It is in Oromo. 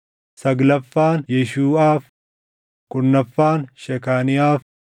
saglaffaan Yeeshuuʼaaf, kurnaffaan Shekaaniyaaf,